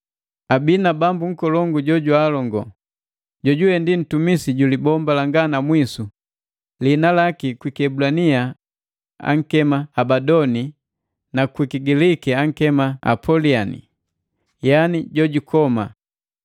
Abii na bambu nkolongu jo jwaalongo, jojuwe ndi ntumisi ju libomba langa na mwisu; liina laki kwi kiebulania ankema Abadoni na kwiki Giliki akema Apoliani, yaani jojukoma.